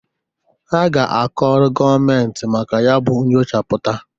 Ha ga-akọrọ gọọmentị maka ya bụ nchọpụta.